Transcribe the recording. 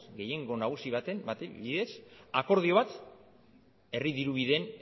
gehiengo nagusi baten bidez akordio bat herri diru bideen